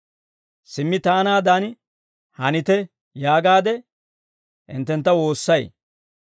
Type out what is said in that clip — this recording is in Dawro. Simmi taanaadan hanite yaagaade hinttentta woossay.